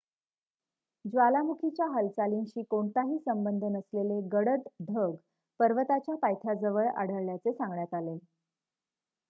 ज्वालामुखीच्या हालचालींशी कोणताही संबंध नसलेले गडद ढग पर्वताच्या पायथ्याजवळ आढळल्याचे सांगण्यात आले